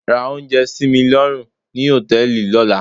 Ra oúnjẹ sí mi lọ́rùn ni hòtẹ́ẹ̀lì lọ́la.